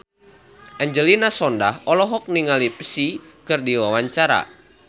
Angelina Sondakh olohok ningali Psy keur diwawancara